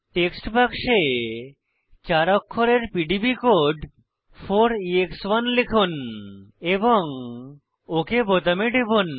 text বাক্সে চার অক্ষরের পিডিবি কোড 4এক্স1 লিখুন এবং ওক বোতামে টিপুন